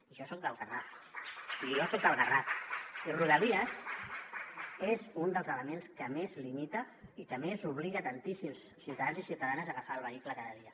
i jo soc del garraf i rodalies és un dels elements que més limita i que més obliga tantíssims ciutadans i ciutadanes a agafar el vehicle cada dia